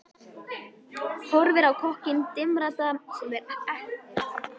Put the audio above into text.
Horfir á kokkinn dimmraddaða sem er heldur en ekki þykkjuþungur.